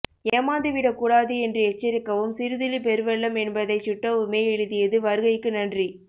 ஏமாந்து விடக் கூடாது என்று எச்சரிக்கவும் சிறு துளி பெருவெள்ளம் என்பதைச் சுட்டவுமே எழுதியது வருகைக்கு நன்றி